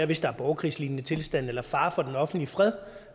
hvis der er borgerkrigslignende tilstande eller fare for den offentlige fred